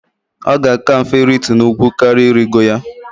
Ọ ga-aka mfe iritu n'ugwu karỊa irigo ya.